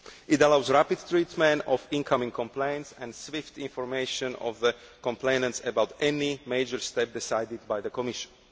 It allows the rapid treatment of incoming complaints and gives swift information to the complainants about any major step decided by the Commission.